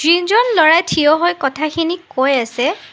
যিনজন ল'ৰাই থিয় হৈ কথাখিনি কৈ আছে।